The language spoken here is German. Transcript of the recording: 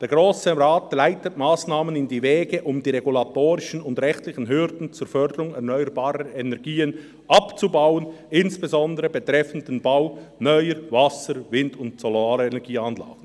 «Der Grosse Rat leitet Massnahmen in die Wege, um die regulatorischen und rechtlichen Hürden zur Förderung erneuerbarer Energien abzubauen, insbesondere betreffend den Bau neuer Wasser-, Wind- und Solarenergieanlagen.